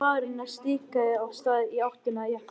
sagði maðurinn og stikaði af stað í áttina að jeppanum.